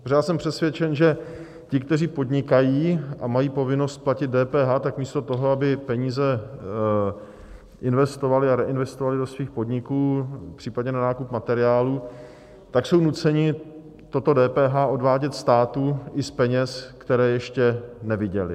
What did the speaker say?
Protože já jsem přesvědčen, že ti, kteří podnikají a mají povinnost platit DPH, tak místo toho, aby peníze investovali a reinvestovali do svých podniků, případně na nákup materiálu, tak jsou nuceni toto DPH odvádět státu i z peněz, které ještě neviděli.